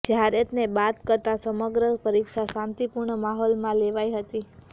જયારેત ેને બાદ કરતા સમગ્ર પરીક્ષા શાંતિપુર્ણ માહોલમાં લેવાઈ હતી